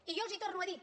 i jo els ho torno a dir